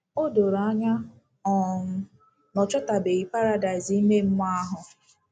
O doro anya um na ọ chọtabeghị paradaịs ime mmụọ ahụ.